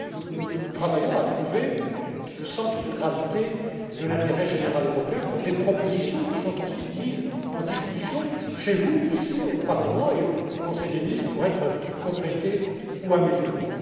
Nous travaillons à trouver le centre de gravité de l'intérêt général européen pour des propositions qui sont ensuite mises en discussion chez vous ici au Parlement et au Conseil des ministres, pour être complétées ou améliorées.